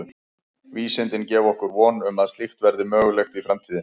Vísindin gefa okkur von um að slíkt verði mögulegt í framtíðinni.